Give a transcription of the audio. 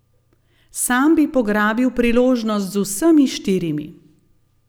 Sam bi pograbil priložnost z vsemi štirimi.